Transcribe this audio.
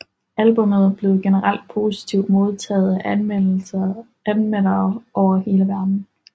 Albummet blev generelt positivt modtaget af anmeldere over hele verdenen